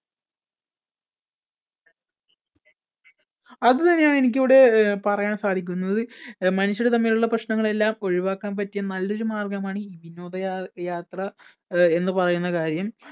അത് തന്നെ ആണ് എനിക്ക് ഇവിടെ പറയാൻ സാധിക്കുന്നത് മനുഷ്യർ തമ്മിലുള്ള പ്രശ്നങ്ങൾ എല്ലാം ഒഴിവാക്കാൻ പറ്റിയ നല്ലൊരു മാർഗമാണ് ഈ വിനോദയാത്ര അഹ് എന്ന് പറയുന്ന കാര്യം